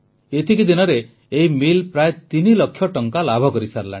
ଏତିକି ଦିନରେ ଏହି ମିଲ୍ ପ୍ରାୟ ତିନି ଲକ୍ଷ ଟଙ୍କା ଲାଭ କରିସାରିଲାଣି